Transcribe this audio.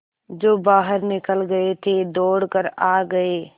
जो बाहर निकल गये थे दौड़ कर आ गये